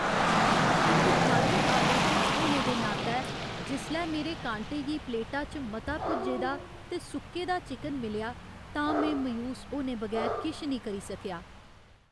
इक खाद्य आलोचक होने दे नातै, जिसलै मेरे कांटे गी प्लेटा च मता भुज्जे दा ते सुक्के दा चिकन मिलेआ तां में मायूस होने बगैर किश निं करी सकेआ।